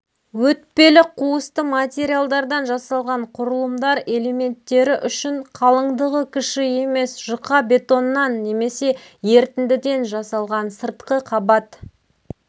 өтпелі қуысты материалдардан жасалған құрылымдар элементтері үшін қалыңдығы кіші емес жұқа бетоннан немесе ерітіндіден жасалған сыртқы қабат